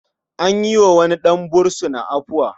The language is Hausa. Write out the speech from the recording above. An yi wa wani ɗan fursuna afuwa.